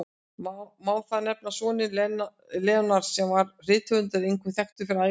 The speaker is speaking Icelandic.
Má þar nefna soninn Leonard, sem var rithöfundur, einkum þekktur fyrir ævisögur.